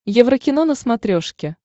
еврокино на смотрешке